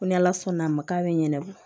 Ko ni ala sɔnna a ma k'a bɛ ɲɛnɛbɔ